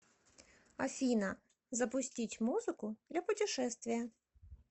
афина запустить музыку для путешествия